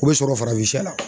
O bɛ sɔrɔ farafinsɛ la.